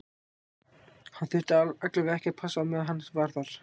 Hann þurfti alla vega ekki að passa á meðan hann var þar.